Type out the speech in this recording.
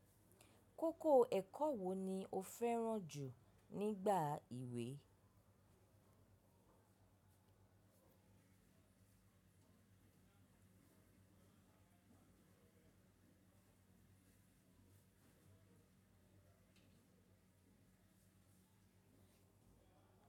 Kókó ẹ̀kọ́ wo ni o fẹ́ràn jù nígbà ìwé?